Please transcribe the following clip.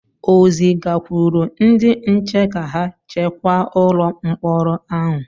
o zigakwuru ndị nche ka ha chekwa ụlọ mkpọrọ ahụ?